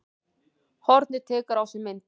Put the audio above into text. Hornið tekur á sig mynd